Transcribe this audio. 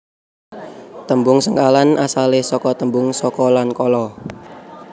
Tembung sengkalan asalé saka tembung saka lan kala